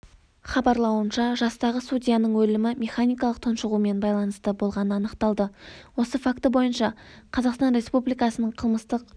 хабарлауынша жастағы судьяның өлімі механикалық тұншығумен байланысты болғаны анықталды осы факті бойынша қазақстан республикасының қылмыстық